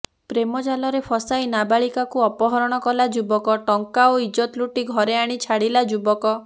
ପ୍ରେମ ଜାଲରେ ଫସାଇ ନାବାଳିକାକୁ ଅପହରଣ କଲା ଯୁବକ ଟଂକା ଓ ଇଜ୍ଜତ ଲୁଟି ଘରେ ଆଣି ଛାଡ଼ିଲା ଯୁବକ